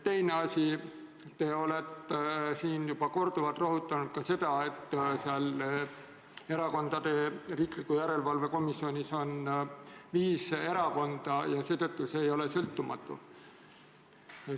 Teine asi: te olete siin juba korduvalt rõhutanud, et Erakondade Rahastamise Järelevalve Komisjonis on esindatud viis erakonda ja seetõttu see ei ole sõltumatu.